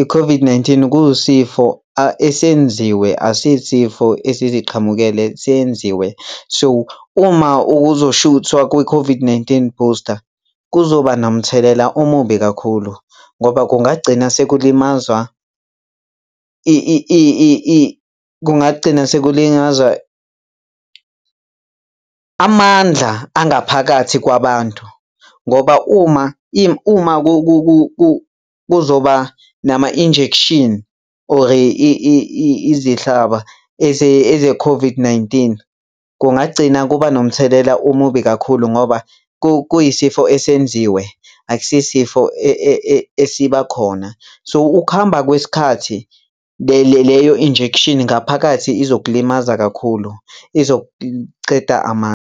I-COVID-19 kuyisifo esenziwe, asiyisifo esiziqhamukele seyenziwe. So, uma uzoshuthwa kwi-COVID-19 booster kuzoba nomthelela omubi kakhulu ngoba kungagcina sekulimazwa kungagcina sekulinyazwa amandla angaphakathi kwabantu ngoba uma uma kuzoba nama-injection or izihlaba eze-COVID-19, kungagcina kuba nomthelela omubi kakhulu ngoba kuyisifo esenziwe, akusiyo isifo esiba khona. So, ukuhamba kwesikhathi leyo injection ngaphakathi izokulimaza kakhulu, izokunceda .